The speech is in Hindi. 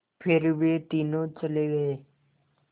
फिर वे तीनों चले गए